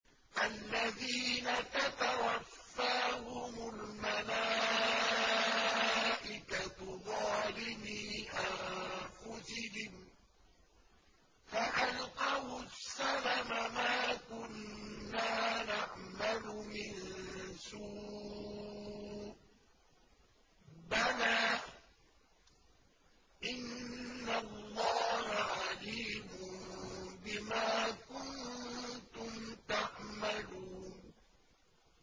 الَّذِينَ تَتَوَفَّاهُمُ الْمَلَائِكَةُ ظَالِمِي أَنفُسِهِمْ ۖ فَأَلْقَوُا السَّلَمَ مَا كُنَّا نَعْمَلُ مِن سُوءٍ ۚ بَلَىٰ إِنَّ اللَّهَ عَلِيمٌ بِمَا كُنتُمْ تَعْمَلُونَ